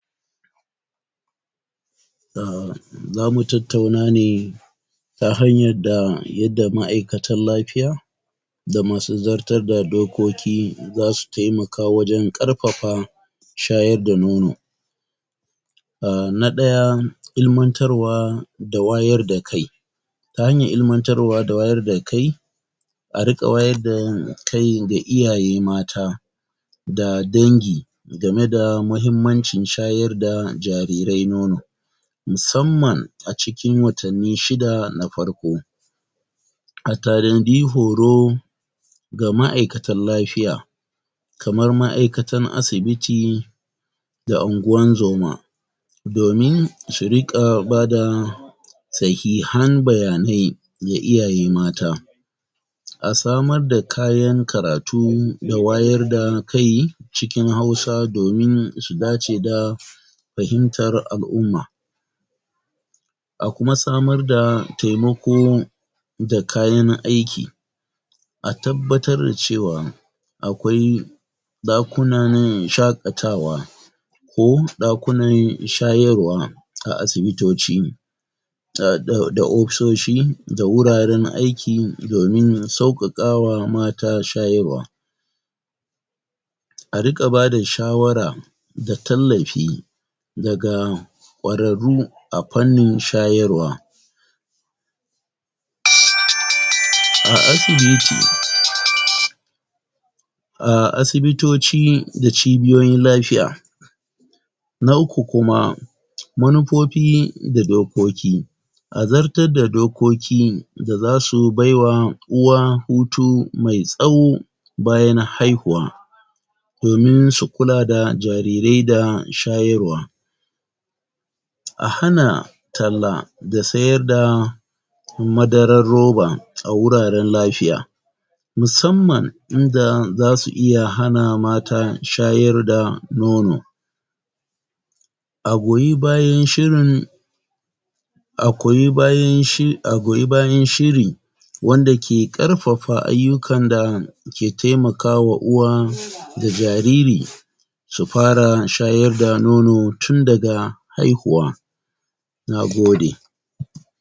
um zamu tattauna ne ta hanyar da, yadda ma'aikatan lafiya da masu zartar da dokoki zasu temaka wajen ƙarfafa shayar da nono um na ɗaya ilimantarwa da wayar da kai ta hanyar ilimantarwa da wayar da kai a riƙa wayar da kai ga iyaye mata da dangi gameda mahimmancin shayar da jarirai nono musamman a cikin watanni shida na farko a tanadi horo ga ma'aikatan lafiya kamar ma'aikatan asibiti da anguwan zoma domin su riƙa bada sahihan bayanai ga iyaye mata a samar da kayan karatu da wayar da kai cikin Hausa domin su dace da fahimtar al'umma a kuma samar da temako da kayan aiki a tabbatar da cewa akwai ɗakunan shaƙatawa ko ɗakunan shayarwa a asibitoci a da da da ofisoshi da wuraren aiki domin sauƙaƙawa mata shayarwa a riƙa bada shawara da tallafi daga ƙwararru a fannin shayarwa??? a asibiti? a asibitoci da cibiyoyin lafiya na uku kuma manufofi da dokoki a zartar da dokoki da zasu baiwa uwa hutu mai tsaho bayan haihuwa domin su kula da jarirai da shayarwa a hana talla da sayarda madarar roba a wuraren lafiya musamman inda zasu iya hana mata shayar da nono A goyi bayan shirin a koyi bayan shi,a goyi bayan shiri wanda ke ƙarfafa ayyukan da ke temakawa uwa da jariri su fara shayar da nono tun daga haihuwa nagode.